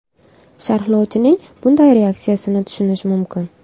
Sharhlovchining bunday reaksiyasini tushunish mumkin.